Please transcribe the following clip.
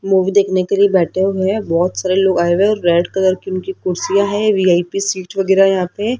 Movie देखने के लिए बैठे हुए हैं बहोत सारे लोग आए हुए हैं और रेड कलर की उनकी कुर्सियां है वी_आई_पी सीट वगैरा यहां पे।